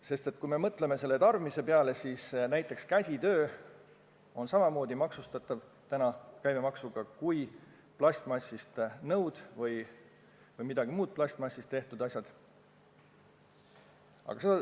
Sest kui me mõtleme tarbimise peale, siis näiteks käsitöö on samamoodi maksustatav käibemaksuga kui plastmassist nõud või mingid muud plastmassist tehtud asjad.